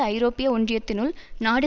ஐரோப்பிய ஒன்றியத்தினுள் நாடு